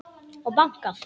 Og bankað.